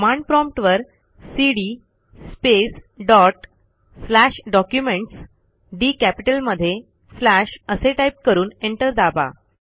command prompt वरcd space dot slash documents डीकॅपिटलमध्ये slash असे टाईप करून एंटर दाबा